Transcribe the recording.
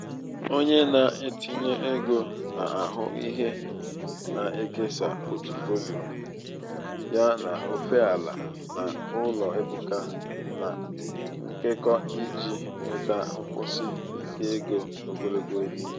onye na-etinye ego na-ahụ ihe na-ekesa pọtụfoliyo ya n'ofe ala na ụlọ ebuka na nkekọ iji um nweta nkwụsi um ike ego ogologo oge.